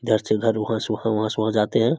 इधर से उधर उहा से उहा वहां से वहां जाते है।